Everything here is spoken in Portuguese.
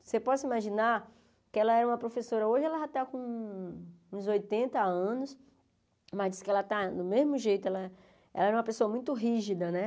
Você pode imaginar que ela era uma professora, hoje ela já está com uns oitenta anos, mas diz que ela está do mesmo jeito, ela era uma pessoa muito rígida, né?